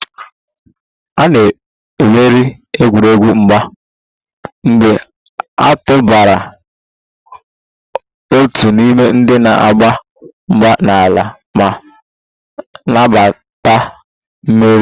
A na-emeri egwuregwu mgba mgbe a tụbara otu n'ime ndị na-agba mgba n'ala ma nabata mmeri